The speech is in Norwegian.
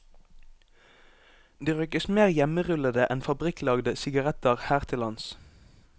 Det røykes mer hjemmerullede enn fabrikklagde sigaretter her til lands.